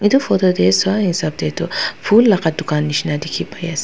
Etu photo tey swa hasap tetu ful laka tugan neshna dekhe pai ase.